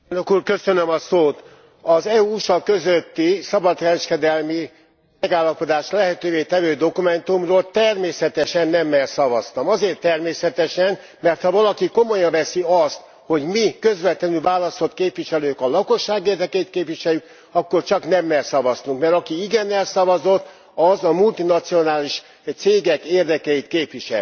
Elnök Úr, az EU USA közötti szabadkereskedelmi megállapodást lehetővé tevő dokumentumról természetesen nemmel szavaztam. Azért természetesen, mert ha valaki komolyan veszi azt, hogy mi, közvetlenül választott képviselők, a lakosság érdekeit képviseljük, akkor csak nemmel szavazhatott, mert aki igennel szavazott, az a multinacionális cégek érdekeit képviseli.